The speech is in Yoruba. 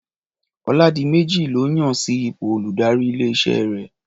Ọládiméjì lọ́ yàn sí ipò olùdarí ilé-iṣẹ́ rẹ̀.